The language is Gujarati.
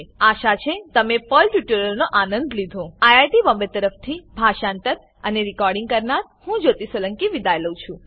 આશા છે તમે પર્લ ટ્યુટોરીયલનો આનંદ લીધો આઈઆઈટી બોમ્બે તરફથી હું જ્યોતી સોલંકી વિદાય લઉં છું